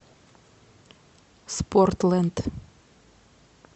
спортлэнд